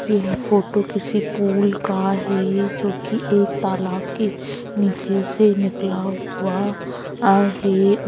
यह फ़ोटो किसी पुल का है जो की एक तालाब के नीचे से निकला हुआ है ।